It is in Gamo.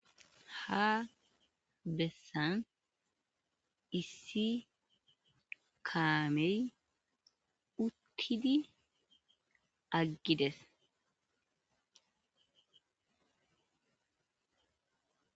ha bessan issi kaamey uttidi aggides